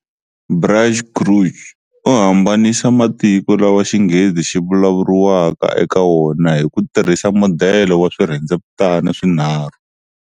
Braj Kachru u hambanisa matiko lawa Xinghezi xi vulavuriwaka eka wona hi ku tirhisa modele wa swirhendzevutana swinharhu.